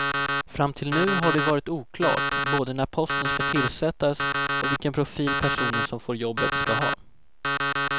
Fram till nu har det varit oklart både när posten ska tillsättas och vilken profil personen som får jobbet ska ha.